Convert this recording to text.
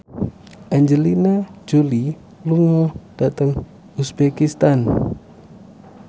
Angelina Jolie lunga dhateng uzbekistan